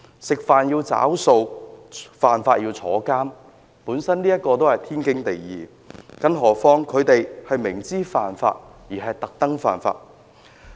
吃飯要找數，犯法要坐牢，本來是天經地義的，更何況他們明知犯法而故意犯法。